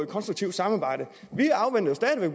konstruktivt samarbejde